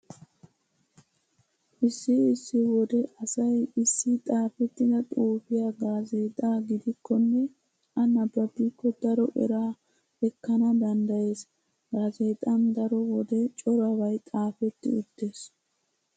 Issi issi wode asay issi xaafettida xuufiya gaazeexaa gidikkonne a nabbabikko daro eraa ekkana danddayees. Gaazeexan daro wode corabay xaafetti uttees.